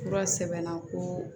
Fura sɛbɛnna ko